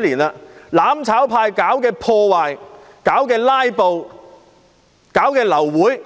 年來，"攬炒派"是否經常搞破壞、"拉布"、造成流會？